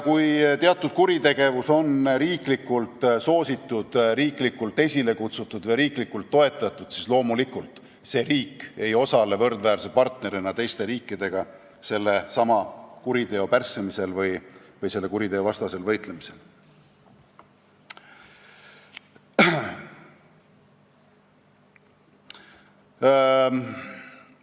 Kui teatud liiki kuritegevus on kuskil riiklikult soositud, riiklikult esile kutsutud või riiklikult toetatud, siis loomulikult ei osale see riik teiste riikide võrdväärse partnerina sellesama kuriteoliigi pärssimisel või selle vastu võitlemisel.